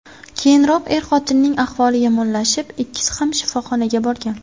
Keyinroq er-xotinning ahvoli yomonlashib, ikkisi ham shifoxonaga borgan.